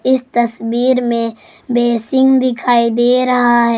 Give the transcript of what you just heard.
इस तस्वीर में बेसिन दिखाई दे रहा है।